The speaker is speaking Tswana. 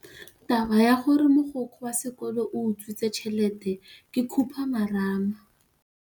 Taba ya gore mogokgo wa sekolo o utswitse tšhelete ke khupamarama.